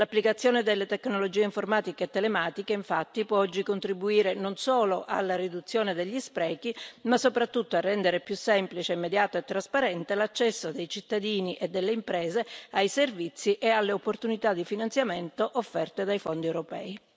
L'applicazione delle tecnologie informatiche e telematiche, infatti, può oggi contribuire non solo alla riduzione degli sprechi, ma soprattutto a rendere più semplice, immediato e trasparente l'accesso dei cittadini e delle imprese ai servizi e alle opportunità di finanziamento offerte dai fondi europei.